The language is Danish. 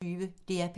DR P1